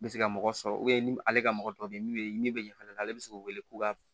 Bɛ se ka mɔgɔ sɔrɔ ni ale ka mɔgɔ tɔ bɛ ye min bɛ ni bɛ ɲɛ fɛnɛ ale bɛ se k'u wele k'u ka